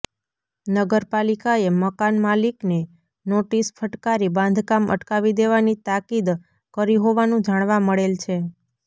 નગરપાલિકાએ મકાનમાલિકને નોટીસ ફટકારી બાંધકામ અટકાવી દેવાની તાકીદ કરી હોવાનું જાણવા મળેલ છે